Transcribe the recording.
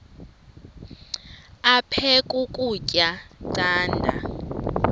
aphek ukutya canda